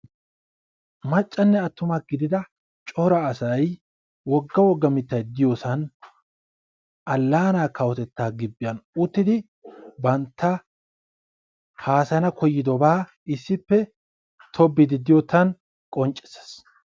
Maccanne attuma gidida cora asay wogga wogga mittay diyosan allaanaa kawotettaa gibbiyan uttidi bantta haasayana koyyidobaa issippe tobbiiddi diyottan qonccissees.